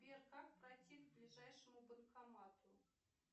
сбер как пройти к ближайшему банкомату